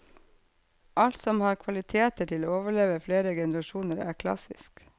Alt som har kvaliteter til å overleve flere generasjoner, er klassisk.